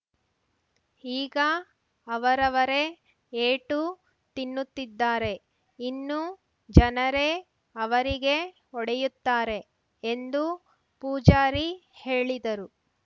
ಈಗ ಅವರವರೇ ಏಟು ತಿನ್ನುತ್ತಿದ್ದಾರೆ ಇನ್ನು ಜನರೇ ಅವರಿಗೆ ಹೊಡೆಯುತ್ತಾರೆ ಎಂದು ಪೂಜಾರಿ ಹೇಳಿದರು